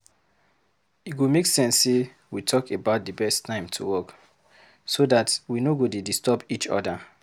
E go make sense sey we talk about di best time to work, so dat we no go dey disturb each other.